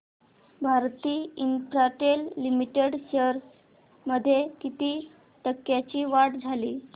Bharti Infratel limited shares मध्ये किती टक्क्यांची वाढ झाली